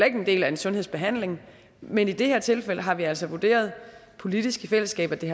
ikke en del af en sundhedsbehandling men i det tilfælde har vi altså vurderet politisk i fællesskab at det